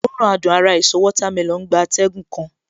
Òórùn adùn ara èso watermelon gba atẹ́gùn kan